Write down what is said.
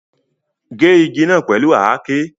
Ge igi naa pẹlu àáké